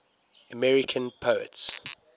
american poets